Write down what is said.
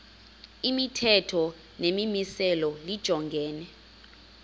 imithetho nemimiselo lijongene